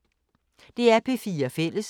DR P4 Fælles